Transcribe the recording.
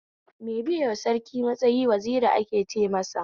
Me biyema Sarki a matsayi Waziri ake ce masa